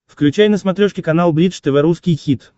включай на смотрешке канал бридж тв русский хит